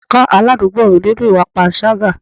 Wọ́n ká aládùúgbò mi nínú ìwà panṣágà.